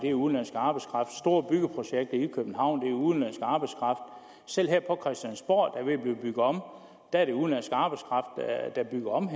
er udenlandsk arbejdskraft store byggeprojekter i københavn og selv her på christiansborg der er ved at blive bygget om er det udenlandsk arbejdskraft der bygger om